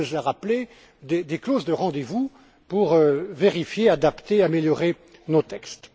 Goebbels l'a rappelé, des clauses de rendez vous pour vérifier, adapter et améliorer nos textes.